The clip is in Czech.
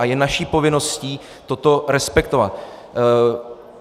A je naší povinností toto respektovat.